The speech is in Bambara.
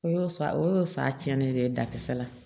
O y'o sa o y'o san tiɲɛni de ye dakisɛ la